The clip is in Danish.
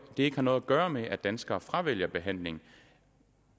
det ikke har noget at gøre med at danskere fravælger behandling